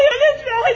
Toxunmayın!